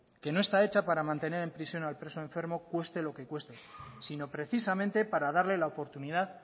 que no está hecha para mantener en prisión al preso enfermo cueste lo que cueste sino precisamente para darle la oportunidad